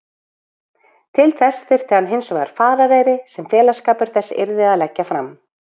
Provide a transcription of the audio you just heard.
Til þess þyrfti hann hinsvegar farareyri sem félagsskapur þessi yrði að leggja fram.